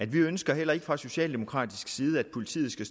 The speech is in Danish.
vi ønsker heller ikke fra socialdemokratisk side at politiet skal